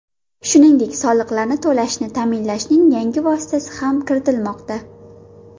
Shuningdek, soliqlarni to‘lashni ta’minlashning yangi vositasi ham kiritilmoqda.